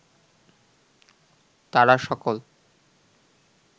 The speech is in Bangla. তারা সকল